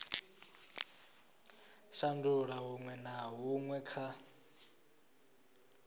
shandula huṅwe na huṅwe kha